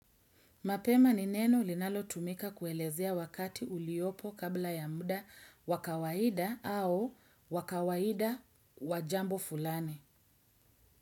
Mapema ni neno linalo tumika kuelezea wakati uliopo kabla ya muda wa kawaida au wa kawaida wa jambo fulani.